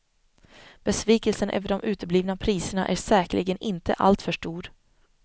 Besvikelsen över de uteblivna priserna är säkerligen inte alltför stor.